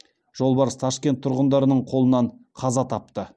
жолбарыс ташкент тұрғындарының қолынан қаза тапты